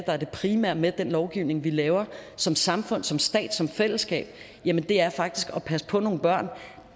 er det primære med den lovgivning vi laver som samfund som stat som fællesskab det er faktisk at passe på nogle børn